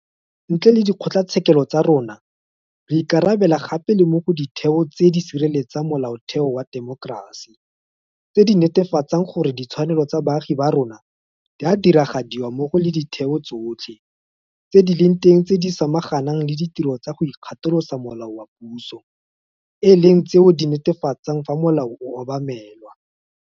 Ntle le dikgotlatshekelo tsa rona, re ikarabela gape le mo go Ditheo tse di Sireletsang Molaotheo wa Temokerasi tse di netefatsang gore ditshwanelo tsa baagi ba rona di a diragadiwa mmogo le ditheo tsotlhe tse di leng teng tse di samaganang le ditiro tsa go ikgatolosa molao ga puso e leng tseo di netefatsang fa molao o obamelwa.